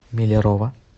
миллерово